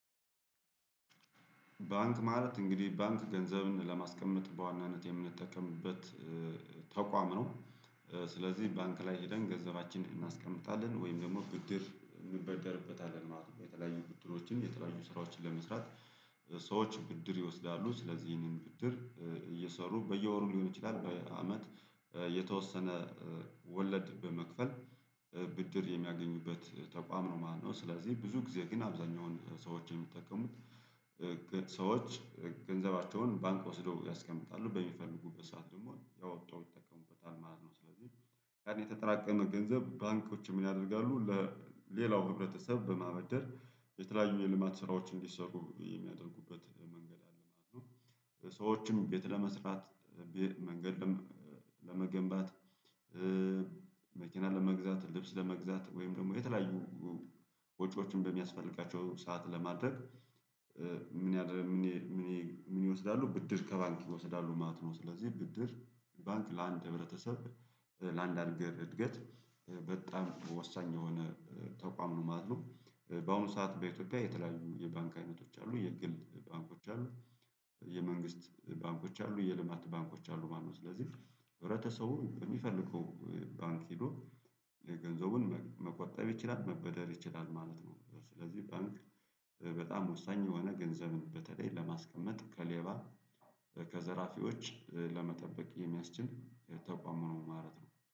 ባንክ ማለት እንግዲህ ባንክ ገንዘብን ለማስቀመጥ በዋናነት የምንጠቀምበት ተቋም ነው። ስለዚህ ባንክ ላይ ሄደን ገንዘባችንን እናስቀምጣለን ወይም ደግሞ ብድር እንበደርበታለን ማለት ነው። የተለያዩ ብድሮችን የተለያዩ ስራዎችን ለመስራት። ሰዎች ብድር ይወስዳሉ ስለዚህ ይህንን ብድር እየሰሩ በየወሩ ሊሆን ይችላል በየአመት የተወሰነ ወለድ በመክፈል ብድር የሚያገኙበት ተቋም ነው ማለት ነው። ስለዚህ ብዙ ጊዜ ግን አብዛኛውን ሰዎች የሚጠቀሙት ሰዎች ገንዘባቸውን ባንክ ወስደው ያስቀምጣሉ በሚፈልጉበት ሰዓት ደግሞ እያወጡ ይጠቀሙበታል ማለት ነው። ስለዚህ የተጠራቀመ ገንዘብ ባንኮች ምን? ያደርጋሉ ለሌላው ህብረተሰብ በማበደር የተለያዩ የልማት ስራዎች እንዲሰሩ የሚያደርጉበት መንገድ አለ ማለት ነው። ሰዎችም ቤት ለመስራት መንገድም ለመገንባት። መኪና ለመግዛት ልብስ ለመግዛት ወይም ደግሞ የተለያዩ ወጪዎችን በሚያስፈልጋቸው ሰዓት ለማድረግ። ምን? ያደርግ ምን? ምን ይወስዳሉ ብድር ከባንክ ይወስዳሉ ማለት ነው። ስለዚህ ብድር ባንክ ለአንድ ህብረተሰብ ለአንድ ሀገር እድገት በጣም ወሳኝ የሆነ ተቋም ነው ማለት ነው። በአሁኑ ሰዓት በኢትዮጵያ የተለያዩ የባንክ አይነቶች አሉ የግል ባንኮች አሉ። የመንግስት ባንኮች አሉ የልማት ባንኮች አሉ ማለት ነው። ስለዚህ ህብረተሰቡ በሚፈልገው ባንክ ሄዶ የገንዘቡን መቆጠብ ይችላል መበደር ይችላል ማለት ነው። ስለዚህ ባንክ በጣም ወሳኝ የሆነ ገንዘብን በተለይ ለማስቀመጥ ከሌባ ከዘራፊዎች ለመጠበቅ የሚያስችል የተቋሙን ማለት ነው